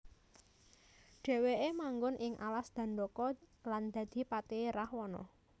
Dheweke manggon ing alas Dandaka lan dadi patihe Rahwana